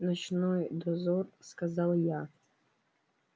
ночной дозор сказал я